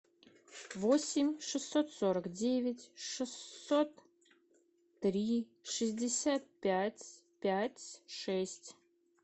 восемь шестьсот сорок девять шестьсот три шестьдесят пять пять шесть